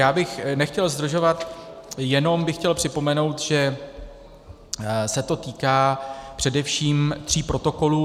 Já bych nechtěl zdržovat, jenom bych chtěl připomenout, že se to týká především tří protokolů.